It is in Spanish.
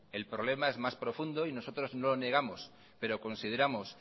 el problema es más profundo y nosotros no lo negamos pero consideramos